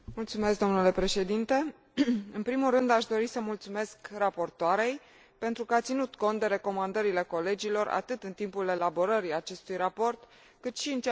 În primul rând, aș dori să mulțumesc raportoarei pentru că a ținut cont de recomandările colegilor, atât în timpul elaborării acestui raport, cât și în ceea ce privește amendamentele.